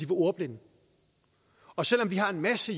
ordblinde og selv om vi har en masse